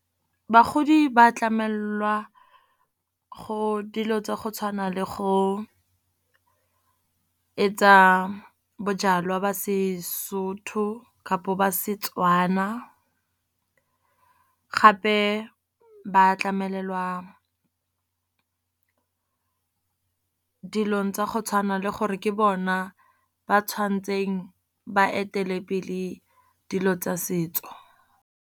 Bagodi ba tlamelelwa go dilo tsa go tshwana le go etsa bojalwa ba Sesotho, kapo ba Setswana. Gape ba tlamelelwa dilong tsa go tshwana le gore ke bona ba tshwantseng ba etelepele dilo tsa setso.